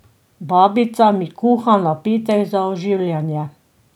Babica mi kuha napitek za oživljanje.